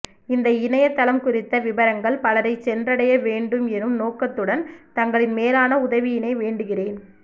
இந்த இணைய தளம் குறித்த விபரங்கள் பலரை சென்றடைய வேண்டும் எனும் நோக்கத்துடன் தங்களின் மேலான உதவியினை வேண்டுகிறேன்